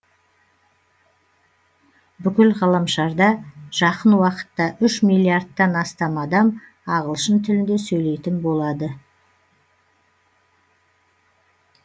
бүкіл ғаламшарда жақын уақытта үш миллиардтан астам адам ағылшын тілінде сөйлейтін болады